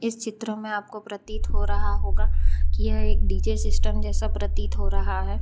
चित्र में आपको प्रतीत हो रहा होगा कि यह एक डी_जे सिस्टम जैसा प्रतीत हो रहा है।